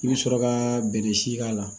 I bɛ sɔrɔ ka bɛnɛ si k'a la